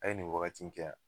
A ye nin wagati in kɛ a?